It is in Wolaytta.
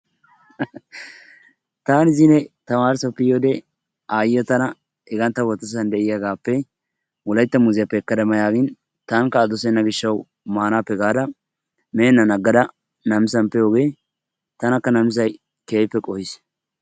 Taani zino tamaaresoppe yiyode aayiya tana hegaan ta wottossan de'iyagaappe wolaytta muuziyappe ekkada ma yaagin taanikka a dossenna gishshawu maanaappe gaadda meenann aggada nammissan de'iyogee tanaka nammissay keehippe qohiis.